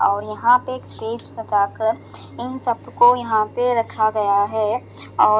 और यहां पे एक स्टेज सजाकर इन सब को यहां पे रखा गया है औ--